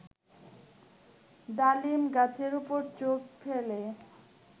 ডালিম গাছের ওপর চোখ ফেলে